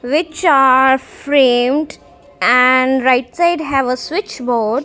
which are framed and right side have a switch board.